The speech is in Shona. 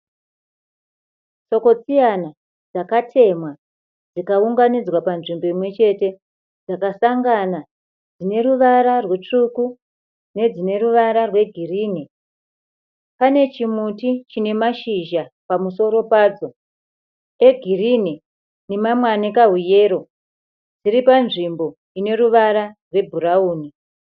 Chokochiyana dzakatemhwa dzikaunganidzwa panzvimbo imwechete. Dzakasangana dzineruvara rutsvuku nedzineruvara rwegirini. Pane chimuti chinemashizha pamusoro pacho egirinhi nemamwe anekahuyero, zviri panzvimbo ineruvara rwebhurauni.